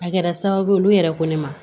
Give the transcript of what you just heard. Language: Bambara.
A kɛra sababu ye olu yɛrɛ ko ne ma